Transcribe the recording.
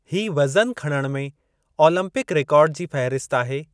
ही वज़नु खणण में ओलम्पिक रेकार्ड जी फ़हिरसत आहे?